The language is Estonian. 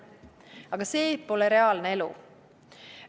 Aga see pole reaalne elu.